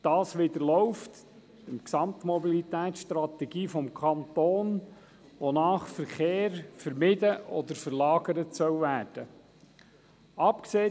Das läuft der Gesamtmobilitätsstrategie 2008 des Kantons Bern zuwider, wonach Verkehr vermieden oder verlagert werden soll.